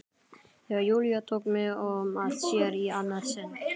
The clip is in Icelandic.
Þegar Júlía tók mig að sér í annað sinn.